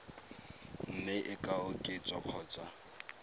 mme e ka oketswa kgotsa